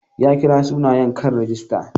Ya kira sunayen kan rigista.